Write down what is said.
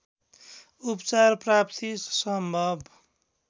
उपचार प्राप्ति सम्भव